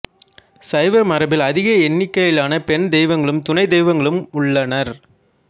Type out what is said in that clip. சைவ மரபில் அதிக எண்ணிக்கையிலான பெண் தெய்வங்களும் துணைத் தெய்வங்களும் உள்ளனர்